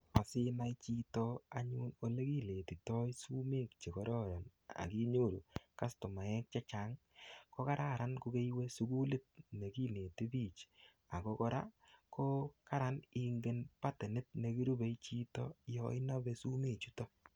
Asinai chito anyun olekiletitoi sumek che kororon ak inyoru kastomaek che chang ii. Kogaran kogeiwe sugulit ne ginete biich. Ago kora ko kararan ingen patenit ne kirupe chito yo inape sumechuto